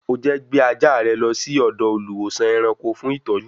O jẹ́ gbé ajá rẹ lọ sí ọ̀dọ̀ olùwósàn-ẹranko fún ìtọ́jú